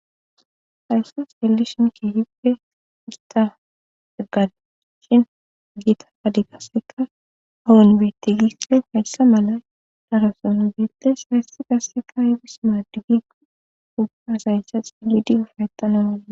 haysse xeellishonki hibpe igta eggada shin giita padi gasseka awun bitti gispe hayssa mala daroson bietes hayssi gasseka ibis maadigi ubbasayssa xilidi ufaytana mada